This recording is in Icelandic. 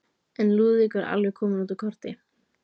En Lúðvík var alveg kominn út úr korti.